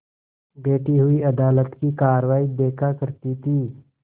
बैठी हुई अदालत की कारवाई देखा करती थी